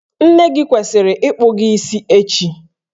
Nne gị kwesịrị ịkpụ gị isi echi